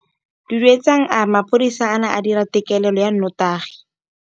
Duduetsang a re mapodisa a ne a dira têkêlêlô ya nnotagi.